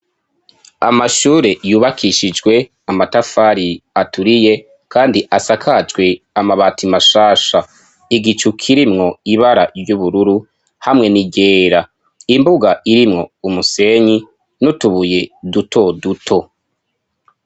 Amashure yubakishijwe amatafari aturiye kandi asakajwe amabati mashasha. Igicu kirimwo ibara ry'ubururu hamwe n'iryera. Imbuga irimwo umusenyi n'utubuye duto duto.